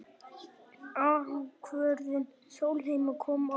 Ákvörðun Sólheima kom á óvart